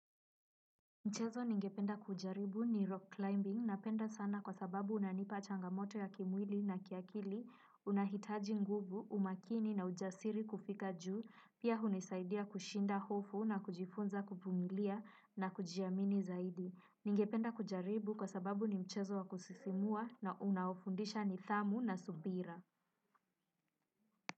Mchezo ningependa kujaribu ni rock climbing napenda sana kwa sababu unanipa changamoto ya kimwili na kiakili, unahitaji nguvu, umakini na ujasiri kufika juu, pia hunisaidia kushinda hofu na kujifunza kuvumilia na kujiamini zaidi. Ningependa kujaribu kwa sababu ni mchezo wa kusisimua na unaofundisha nidhamu na subira.